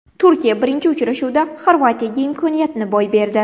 Turkiya birinchi uchrashuvda Xorvatiyaga imkoniyatni boy berdi.